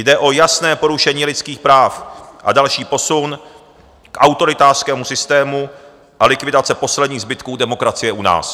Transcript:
Jde o jasné porušení lidských práv a další posun k autoritářskému systému a likvidace posledních zbytků demokracie u nás.